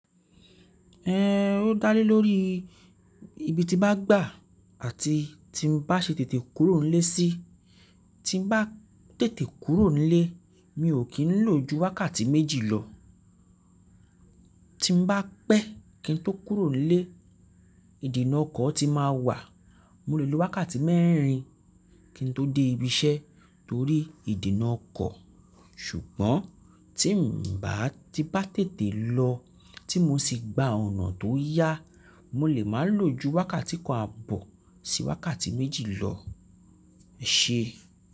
Ẹ n ó dálé lórí ibi tí bá gbà àti tí mo bá ṣe tètè kúrò nílé sí, tí n bá tètè kúrò nílé mi ò kí n lò ju wákàtí méjì lọ. Tí n bá pẹ́ kí n tó kúrò nílé, ìdènà ọkọ̀ ti máa wà, mo lè lo wákàtí mẹ́rin kí n tó dé ibi iṣẹ́ torí ìdènà ọkọ̀. Ṣùgbọ́n tí n bà tí bá tètè lọ tí mo sì gba ọ̀nà tó yá, mo lè máa lò ju wákàtí kan àbọ̀ sí wákàtí méjì lọ. Ẹ ṣe.